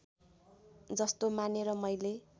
जस्तो मानेर मैले